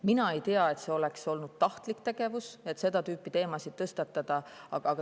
Mina ei tea, et see oleks olnud tahtlik tegevus, kui seda tüüpi teemasid tõstatub.